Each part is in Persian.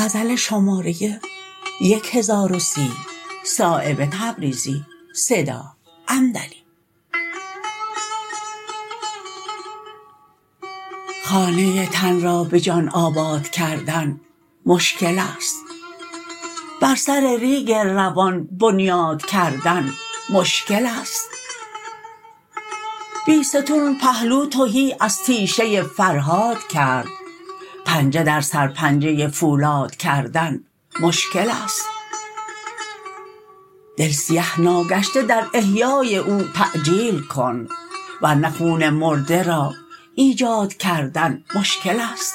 خانه تن را به جان آباد کردن مشکل است بر سر ریگ روان بنیاد کردن مشکل است بیستون پهلو تهی از تیشه فرهاد کرد پنجه در سر پنجه فولاد کردن مشکل است دل سیه ناگشته در احیای او تعجیل کن ورنه خون مرده را ایجاد کردن مشکل است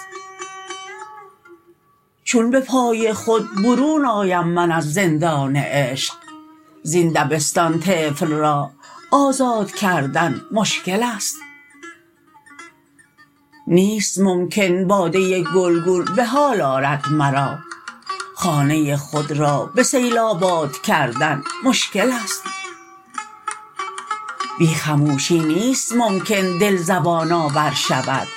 چون به پای خود برون آیم من از زندان عشق زین دبستان طفل را آزاد کردن مشکل است نیست ممکن باده گلگون به حال آرد مرا خانه خود را به سیل آباد کردن مشکل است بی خموشی نیست ممکن دل زبان آور شود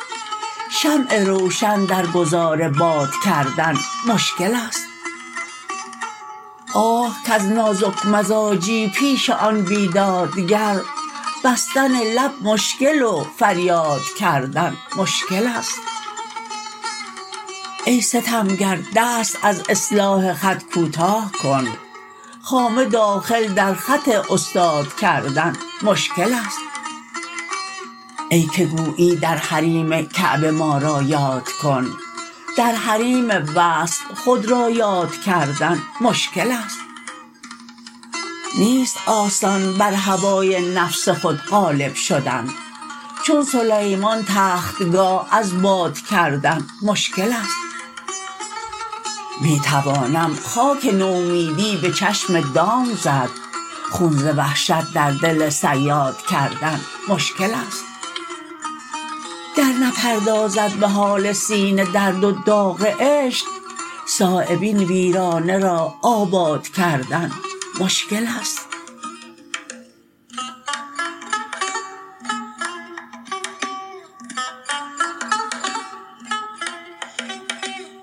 شمع روشن در گذار باد کردن مشکل است آه کز نازک مزاجی پیش آن بیدادگر بستن لب مشکل و فریاد کردن مشکل است ای ستمگر دست از اصلاح خط کوتاه کن خامه داخل در خط استاد کردن مشکل است ای که گویی در حریم کعبه ما را یاد کن در حریم وصل خود را یاد کردن مشکل است نیست آسان بر هوای نفس خود غالب شدن چون سلیمان تختگاه از باد کردن مشکل است می توانم خاک نومیدی به چشم دام زد خون ز وحشت در دل صیاد کردن مشکل است گر نپردازد به حال سینه درد و داغ عشق صایب این ویرانه را آباد کردن مشکل است